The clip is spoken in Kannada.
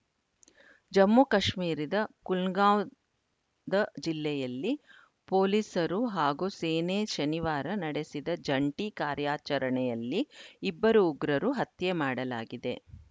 ಜಮ್ಮು ಕಾಶ್ಮೀರದ ಕುಲ್ಗಾಂವ್‌ ದ ಜಿಲ್ಲೆಯಲ್ಲಿ ಪೊಲೀಸರು ಹಾಗೂ ಸೇನೆ ಶನಿವಾರ ನಡೆಸಿದ ಜಂಟಿ ಕಾರ್ಯಾಚರಣೆಯಲ್ಲಿ ಇಬ್ಬರು ಉಗ್ರರು ಹತ್ಯೆ ಮಾಡಲಾಗಿದೆ